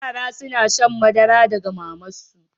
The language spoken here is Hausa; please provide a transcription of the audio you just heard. Yara suna shan madara daga maman su.